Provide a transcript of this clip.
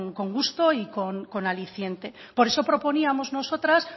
con gusto y con aliciente por eso proponíamos nosotras